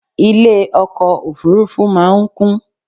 Ilé ọkọ̀ òfurufú máa ń kún